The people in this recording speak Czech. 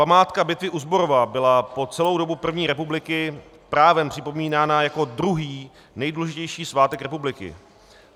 Památka bitvy u Zborova byla po celou dobu první republiky právem připomínána jako druhý nejdůležitější svátek republiky.